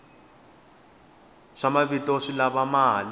swa mavito swi lava mali